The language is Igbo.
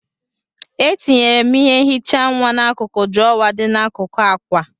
Etinyere m ihe nhicha nwa n'akụkụ drawer dị n'akụkụ akwa.